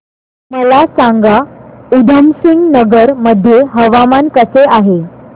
मला सांगा उधमसिंग नगर मध्ये हवामान कसे आहे